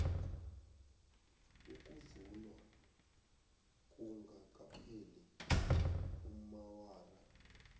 ukuvunywa kungakapheli amaawara